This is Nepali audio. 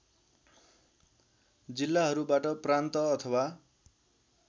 जिल्लाहरूबाट प्रान्त अथवा